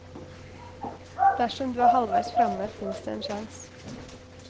Dersom du er halvveis framme, fins det en sjans.